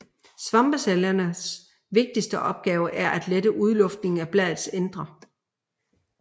Svampecellernes vigtigste opgave er at lette udluftningen af bladets indre